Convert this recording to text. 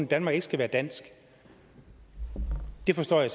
danmark ikke skal være dansk det forstår jeg